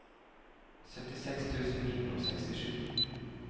syttiseks tusen ni hundre og sekstisju